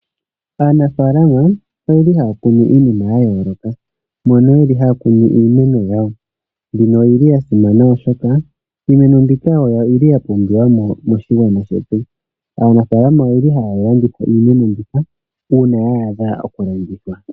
Aanafaalama oyeli haa kunu iinima ya yooloka mono yeli haya kunu iimeno yawo. Yimwe oyili yasimana oshoka iimeno mbika oyo yoli yapumbiwa mo moshigwana shetu. Aanafaalama oyeli haya landitha iimeno mbika uuna ya adha okulandithwa.